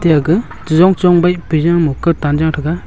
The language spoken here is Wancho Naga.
aga cheyong cheyong baih pejama kautan tega.